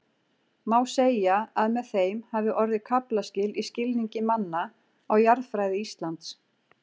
Má segja að með þeim hafi orðið kaflaskil í skilningi manna á jarðfræði Íslands.